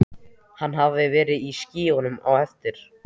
Hann hafði verið í skýjunum á eftir.